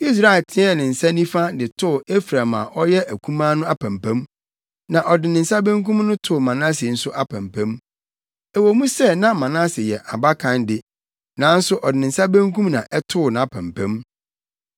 Israel teɛɛ ne nsa nifa de too Efraim a ɔyɛ akumaa no apampam, na ɔde ne nsa benkum no too Manase nso apampam. Ɛwɔ mu sɛ na Manase yɛ abakan de, nanso ɔde ne nsa benkum na ɛtoo nʼapampam.